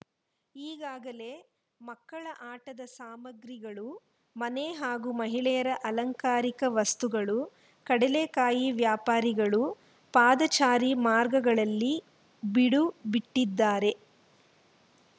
ಈಗಾಗಲೆ ಮಕ್ಕಳ ಆಟದ ಸಾಮಾಗ್ರಿಗಳು ಮನೆ ಹಾಗೂ ಮಹಿಳೆಯರ ಅಲಂಕಾರಿಕ ವಸ್ತುಗಳು ಕಡಲೆಕಾಯಿ ವ್ಯಾಪಾರಿಗಳು ಪಾದಚಾರಿ ಮಾರ್ಗಗಳಲ್ಲಿ ಬಿಡು ಬಿಟ್ಟಿದ್ದಾರೆ